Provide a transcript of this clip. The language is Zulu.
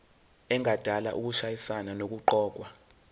engadala ukushayisana nokuqokwa